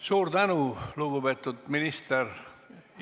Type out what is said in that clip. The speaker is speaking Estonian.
Suur tänu, lugupeetud minister!